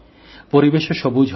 পরিবেশও সবুজ হবে